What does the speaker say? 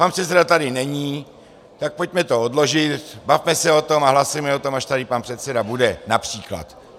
Pan předseda tady není, tak pojďme to odložit, bavme se o tom a hlasujme o tom, až tady pan předseda bude, například.